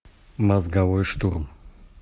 мозговой штурм